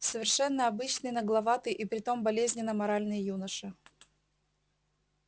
совершенно обычный нагловатый и при том болезненно моральный юноша